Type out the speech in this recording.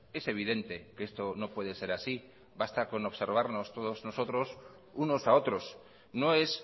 es evidente que esto no puede ser así basta con observarnos todos nosotros unos a otros no es